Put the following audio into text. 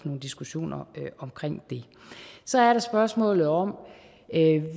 nogle diskussioner om det så er der spørgsmålet om